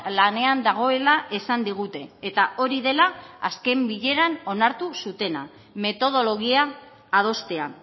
lanean dagoela esan digute eta hori dela azken bileran onartu zutena metodologia adostea